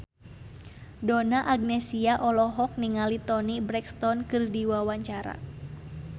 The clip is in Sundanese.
Donna Agnesia olohok ningali Toni Brexton keur diwawancara